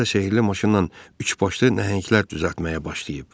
Özü də sehirli maşınnan üç başlı nəhənglər düzəltməyə başlayıb.